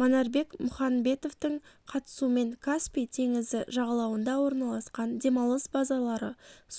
манарбек мұханбетовтың қатысуымен каспий теңізі жағалауында орналасқан демалыс базалары